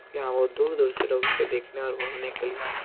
यहाँ बहुत दूर-दूर से लोग इसे देखने और घूमने के लिए आते --